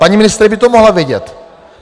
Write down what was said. Paní ministryně by to mohla vědět.